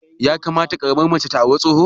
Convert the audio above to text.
Ya kamata ƙaramar mace ta auri tsoho?